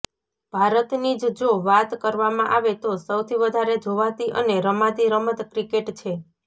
ભારતની જ જો વાત કરવામાં આવે તો સૌથી વધારે જોવાતી અને રમાતી રમત ક્રિકેટ છે